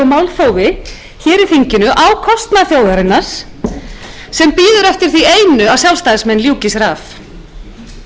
í þinginu á kostnað þjóðarinnar sem bíður eftir því einu að sjálfstæðismenn ljúki sér af þær leikreglur sem hér um